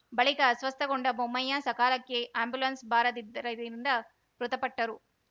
ಬಳಿಕ ಅಸ್ವಸ್ಥಗೊಂಡ ಬೊಮ್ಮಯ್ಯ ಸಕಾಲಕ್ಕೆ ಆ್ಯಂಬುಲೆನ್ಸ್‌ ಬಾರದ್ದರಿಂದ ಮೃತಪಟ್ಟರು